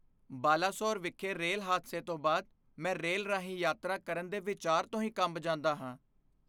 ਬਾਲਾਸੋਰ ਵਿਖੇ ਰੇਲ ਹਾਦਸੇ ਤੋਂ ਬਾਅਦ, ਮੈਂ ਰੇਲ ਰਾਹੀਂ ਯਾਤਰਾ ਕਰਨ ਦੇ ਵਿਚਾਰ ਤੋਂ ਹੀ ਕੰਬ ਜਾਂਦਾ ਹਾਂ।